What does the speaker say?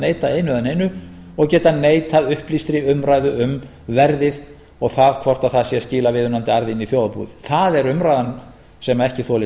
neita einu eða neinu og getað neitað upplýstri umræðu um verðið og það hvort það er að skila viðunandi arði inn í þjóðarbúið það er umræðan sem ekki þolir